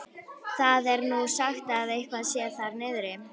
Það er nú sagt að eitthvað sé þar niðri.